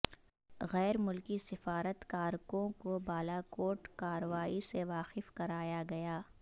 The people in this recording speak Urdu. غیرملکی سفارتکارکوں کو بالاکوٹ کارروائی سے واقف کرایا گیا